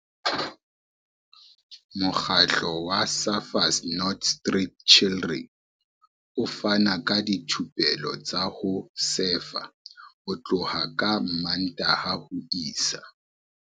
Mokgatlo wa Surfers Not Street Chidren o fana ka dithupelo tsa ho sefa ho tloha ka Mmantaha ho isa